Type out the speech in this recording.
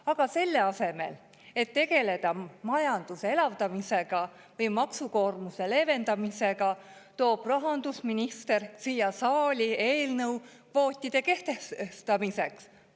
Aga selle asemel, et tegeleda majanduse elavdamisega või maksukoormuse leevendamisega, toob rahandusminister siia saali eelnõu kvootide kehtestamiseks.